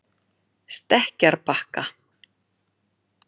Stekkjarbakka